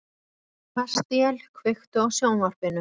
Kastíel, kveiktu á sjónvarpinu.